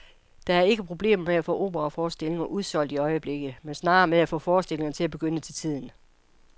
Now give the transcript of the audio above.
Der er ikke problemer med at få operaforestillinger udsolgt i øjeblikket, men snarere med at få forestillingerne til at begynde til tiden.